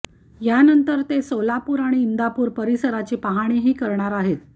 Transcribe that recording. यानंतर ते सोलापूर आणि इंदापूर परिसराची पाहणीही करणार आहेत